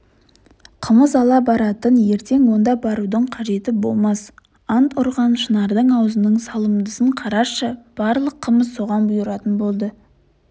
қымыз ала баратын ертең онда барудың қажеті болмас ант ұрған шынардың аузының салымдысын қарашы барлық қымыз соған бұйыратын болды